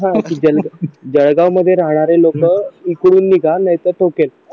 हा जळगाव मध्ये राहणारे लोक इकडून निघा नाहीतर ठोकेन